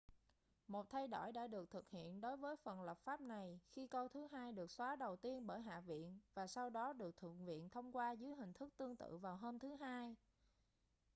một thay đổi đã được thực hiện đối với phần lập pháp này khi câu thứ hai được xóa đầu tiên bởi hạ viện và sau đó được thượng viện thông qua dưới hình thức tương tự vào hôm thứ hai